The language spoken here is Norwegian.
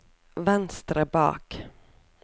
venstre bak